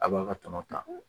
A b'a ka tɔnɔ ta